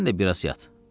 Sən də biraz yat.